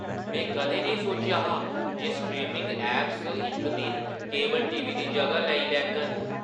में कदें नेईं सोचेआ हा जे स्ट्रीमिंग ऐपां इक दिन केबल टीवी दी जगह लेई लैङन।